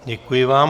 Děkuji vám.